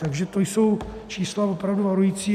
Takže to jsou čísla opravdu varující.